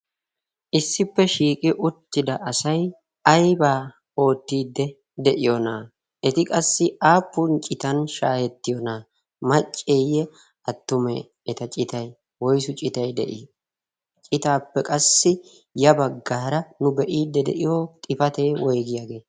issippe shiiqi uttida asai aybaa oottiidde de'iyoonaa eti qassi aappun citan shaahettiyoonaa macceeyye attumee eta citai woisu citay de'ii? citaappe qassi ya baggaara nu be'iidde de'iyo xifatee woigiyaagee?